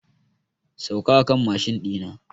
Sauka a kan mashin ɗi na!